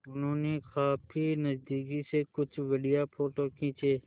उन्होंने काफी नज़दीक से कुछ बढ़िया फ़ोटो खींचे